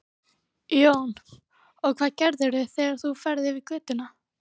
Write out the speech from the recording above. Jón: Og hvað gerirðu þegar þú ferð yfir götuna?